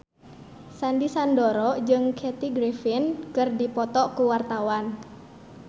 Sandy Sandoro jeung Kathy Griffin keur dipoto ku wartawan